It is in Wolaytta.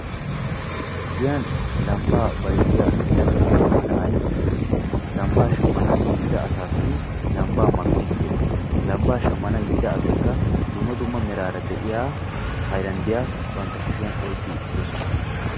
Giyan lambaa bayziya attuma na'ay lambaa shamana yiida asaassi lambaa makiidi de'ees. lambaa shamanawu yiida asaykka dumma dumma meraara de'iya haylanddiya oykki uttidosona.